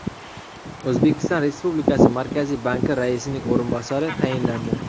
O‘zbekiston Respublikasi Markaziy banki raisining o‘rinbosari tayinlandi.